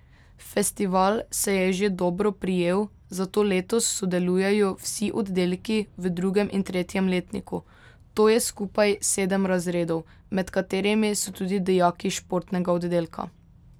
Festival se je že dobro prijel, zato letos sodelujejo vsi oddelki v drugem in tretjem letniku, to je skupaj sedem razredov, med katerimi so tudi dijaki športnega oddelka.